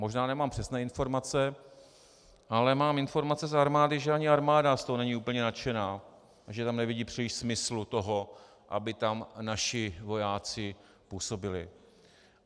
Možná nemám přesné informace, ale mám informace z armády, že ani armáda z toho není úplně nadšená, že tam nevidí příliš smyslu toho, aby tam naši vojáci působili.